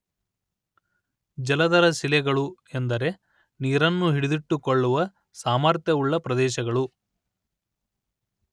ಜಲಧರ ಶಿಲೆಗಳು ಎಂದರೆ ನೀರನ್ನು ಹಿಡಿದಿಟ್ಟುಕೊಳ್ಳುವ ಸಾಮರ್ಥ್ಯವುಳ್ಳ ಪ್ರದೇಶಗಳು